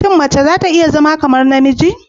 Shin mace za ta iya zama kamar namiji?